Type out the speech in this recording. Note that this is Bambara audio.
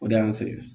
O de y'an sɛgɛn